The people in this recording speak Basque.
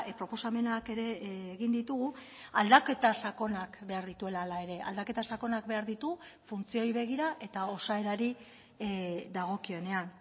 proposamenak ere egin ditugu aldaketa sakonak behar dituela hala ere aldaketa sakonak behar ditu funtzioei begira eta osaerari dagokionean